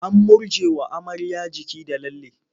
An murjjewa amarya jiki da lalle.